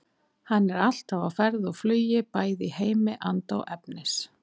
Hann er alltaf á ferð og flugi bæði í heimi anda og efnis.